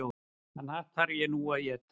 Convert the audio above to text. Þann hatt þarf ég nú að éta.